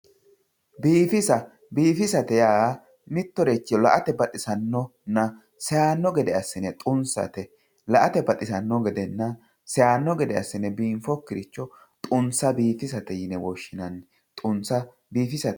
biifisa biifisate yaa mittoricho la*ate baxisannonna seyaanno gede assine xunsate la"ate baxisanno gedenna seyaanno gede assine biinfokkiricho xunsa biifisate yine woshshinanni xunsa biifisate.